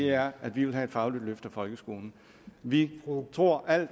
er at vi vil have et fagligt løft af folkeskolen vi tror at